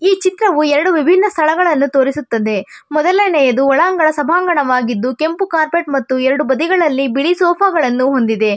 ಈ ಚಿತ್ರವು ಎರಡು ವಿಭಿನ್ನ ಸ್ಥಳಗಳನ್ನು ತೋರಿಸುತ್ತದೆ ಮೋದಲೆಯದು ಒಳಾಂಗಣ ಸಬಂಗಣವಾಗಿದ್ದು ಕೆಂಪು ಕಾರ್ಪೆಟ್ ಮತ್ತು ಎರಡು ಬದಿಗಳಲ್ಲಿ ಬಿಳಿ ಸೋಫಾವನ್ನು ಒಂದಿದೆ.